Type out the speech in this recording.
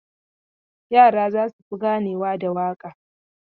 Yara za su fi ganewa da waka.